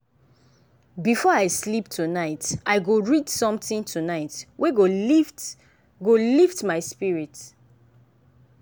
before i sleep tonight i go read something tonight wey go lift go lift my spirit.